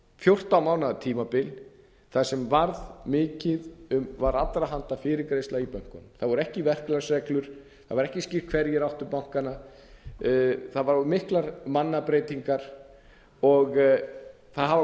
fjórtán mánaða tímabil þar sem varð mikið um var allra handa fyrirgreiðsla í bönkunum það voru ekki verklagsreglur það var ekki skýrt hverjir áttu bankana það voru miklar mannabreytingar það hafa